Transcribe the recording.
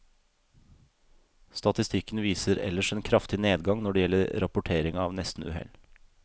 Statistikken viser ellers en kraftig nedgang når det gjelder rapportering av nestenuhell.